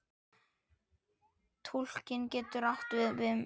Túlkun getur átt við um